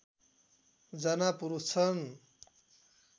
जना पुरुष छन्